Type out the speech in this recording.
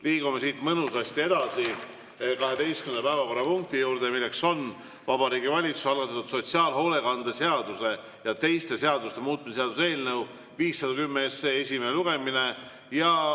Liigume siit mõnusasti edasi 12. päevakorrapunkti juurde, milleks on Vabariigi Valitsuse algatatud sotsiaalhoolekande seaduse ja teiste seaduste muutmise seaduse eelnõu 510 esimene lugemine.